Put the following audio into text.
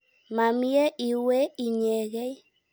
Ma mye iwe inyekei.